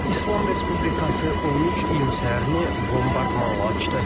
İslam Respublikası 13 iyun səhərini bombardmanla açdı.